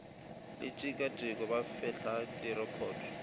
le tikatiko ba fetla direkhoto